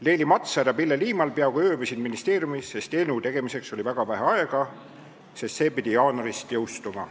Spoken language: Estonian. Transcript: Leili Matsar ja Pille Liimal peaaegu ööbisid ministeeriumis, sest eelnõu tegemiseks oli väga vähe aega, seadus pidi jaanuaris jõustuma.